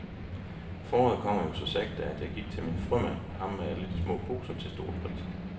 Foråret kommer jo så sagte, så jeg gik til min frømand, ham med alle de små poser til store priser.